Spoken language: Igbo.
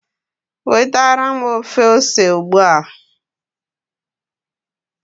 wetara m ofe ose ugbu a